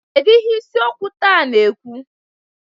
Kedu ihe isi okwu taa na-ekwu?